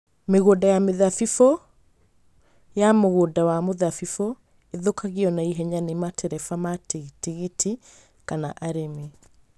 Mĩgũnda ya mĩthabibũ ya mũgũnda wa mĩthabibũ ĩthũkagio na ihenya nĩ matereba ma tigiti kana arĩmi.